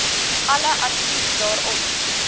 alle advies daarop